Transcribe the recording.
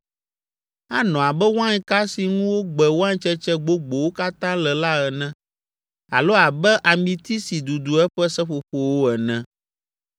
Anɔ abe wainka si ŋu wogbe waintsetse gbogbowo katã le la ene alo abe amiti si dudu eƒe seƒoƒowo ene.